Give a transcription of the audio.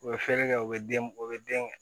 U bɛ feere kɛ u bɛ den u bɛ den kɛ